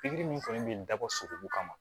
Pikiri min fɛnɛ bɛ dabɔ sogo kama